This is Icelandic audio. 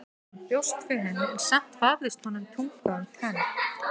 Hann bjóst við henni en samt vafðist honum tunga um tönn.